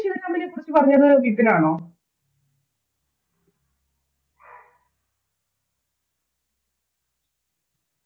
കുറിച്ച് പറഞ്ഞത് വിപിനാണോ